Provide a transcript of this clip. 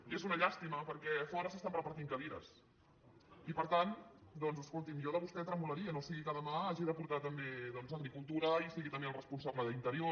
i és una llàstima perquè a fora s’estan repartint cadires i per tant doncs escolti’m jo de vostè tremolaria no sigui que demà hagi de portar també agricultura i sigui també el responsable d’interior